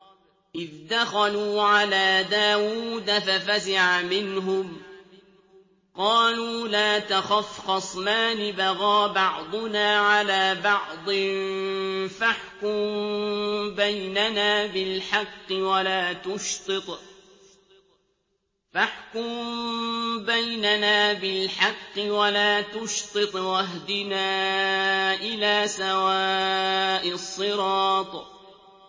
إِذْ دَخَلُوا عَلَىٰ دَاوُودَ فَفَزِعَ مِنْهُمْ ۖ قَالُوا لَا تَخَفْ ۖ خَصْمَانِ بَغَىٰ بَعْضُنَا عَلَىٰ بَعْضٍ فَاحْكُم بَيْنَنَا بِالْحَقِّ وَلَا تُشْطِطْ وَاهْدِنَا إِلَىٰ سَوَاءِ الصِّرَاطِ